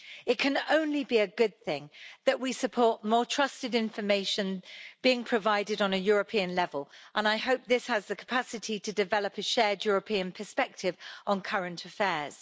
It can only be a good thing that we support more trusted information being provided on a European level, and I hope this has the capacity to develop a shared European perspective on current affairs.